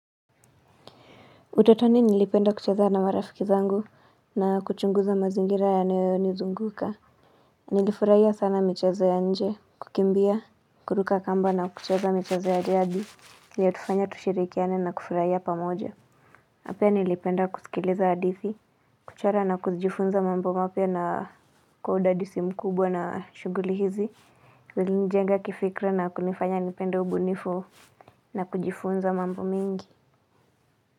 Utotoni nilipenda kucheza na marafiki zangu na kuchunguza mazingira yanayonizunguka. Nilifurahia sana michezo ya nje, kukimbia kuruka kamba na kucheza michezo ya jadi iLitufanya tushirikiane na kufurahia pamoja na pia nilipenda kusikiliza hadithi. Kuchora na kujifunza mambo mapya na kwa udadisi mkubwa na shughuli hizi ilinijenga kifikra na kunifanya nipende ubunifu na kujifunza mambo mingi.